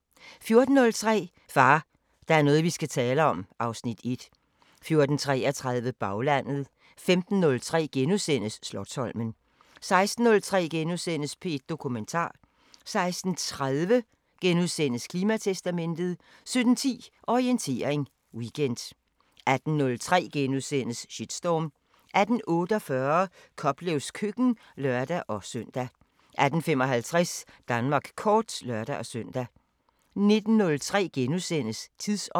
14:03: Far, der er noget vi skal tale om (Afs. 1) 14:33: Baglandet 15:03: Slotsholmen * 16:03: P1 Dokumentar * 16:30: Klimatestamentet * 17:10: Orientering Weekend 18:03: Shitstorm * 18:48: Koplevs køkken (lør-søn) 18:55: Danmark kort (lør-søn) 19:03: Tidsånd *